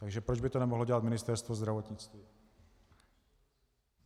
Takže proč by to nemohlo dělat Ministerstvo zdravotnictví?